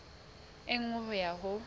e nngwe ho ya ho